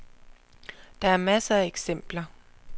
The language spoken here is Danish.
Der er masser af eksempler.